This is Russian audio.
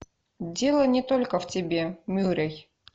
дело не только в тебе мюррей